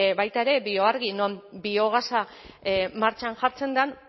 baita ere bioargi non biogasa martxan jartzen den